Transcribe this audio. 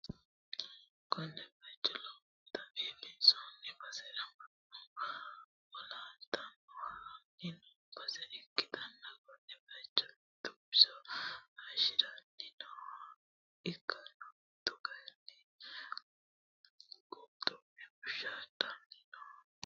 konne bayicho lowontanni biiffanno basera mannu yowolotenni ha'ranni no base ikkanna, konne bayicho mitu biso hayiishidhanni nooha ikkanno, mitu kayiinni qulxumme woshshaaddanni noote.